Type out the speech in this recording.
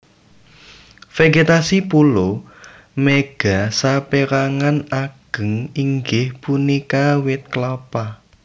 Vegetasi pulo Mega saperangan ageng inggih punika wit Klapa